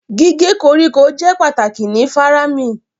Cutting grass is important in faraming